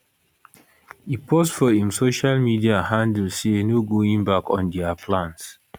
e post for im social media handle say no going back on dia plans